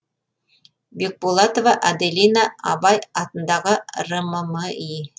бекболатова аделина абай атындағы рмми